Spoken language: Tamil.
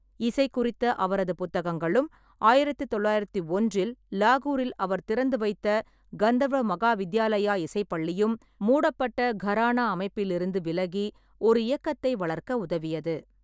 இசை குறித்த அவரது புத்தகங்களும், ஆயிரத்தி தொள்ளாயிரத்தி ஒன்றில் லாகூரில் அவர் திறந்து வைத்த கந்தர்வ மகாவித்யாலயா இசைப் பள்ளியும், மூடப்பட்ட கரானா அமைப்பிலிருந்து விலகி ஒரு இயக்கத்தை வளர்க்க உதவியது.